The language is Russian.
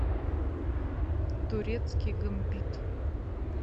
турецкий гамбит